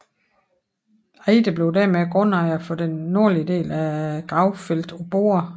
Eyde blev dermed grundejer for den nordlige del af gravfeltet på Borre